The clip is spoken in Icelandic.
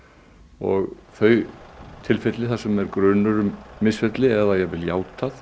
og þau tilfelli þar sem er grunur um misferli eða jafnvel játað